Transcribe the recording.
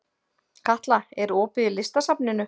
Katla, er opið í Listasafninu?